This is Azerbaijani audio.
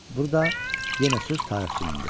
Burda yenə söz tarixçininidir.